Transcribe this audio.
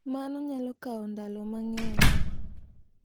Mano nyalo kawo ndalo mang’eny.